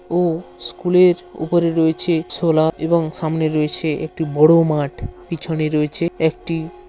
ও স্কুলের উপরে রয়েছে ছোলা এবং সামনে রয়েছে একটি বড়ো মাঠ পিছনে রয়েছে একটি--